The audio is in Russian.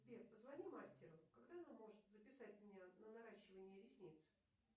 сбер позвони мастеру когда она может записать меня на наращивание ресниц